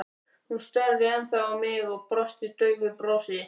Hún starði ennþá á mig og brosti daufu brosi.